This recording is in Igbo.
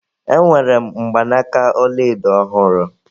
Enwere m mgbanaka ọlaedo ọhụrụ